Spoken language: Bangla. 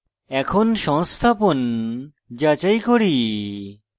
এখন সংস্থাপন যাচাই করি